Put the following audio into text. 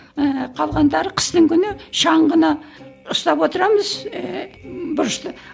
ііі қалғандары қыстың күні шаңғыны ұстап отырамыз ііі бұрышты